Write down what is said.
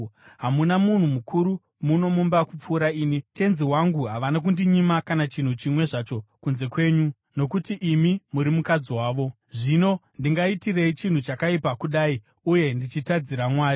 Hamuna munhu mukuru muno mumba kupfuura ini. Tenzi wangu havana kundinyima kana chinhu chimwe zvacho kunze kwenyu, nokuti imi muri mukadzi wavo. Zvino ndingaitirei chinhu chakaipa kudai uye ndichitadzira Mwari?”